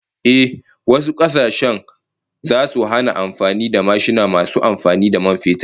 Ehh, wasu kasashen zasu hana amfani da mashina masu amfani da man fetur